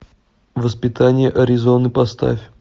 воспитание аризоны поставь